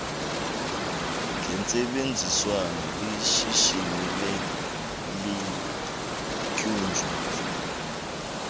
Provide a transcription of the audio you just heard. gentsebenziswano lishishini eliqhutywa